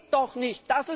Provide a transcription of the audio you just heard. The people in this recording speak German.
Das geht doch nicht!